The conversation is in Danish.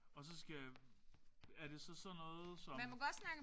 Og så skal er det så sådan noget som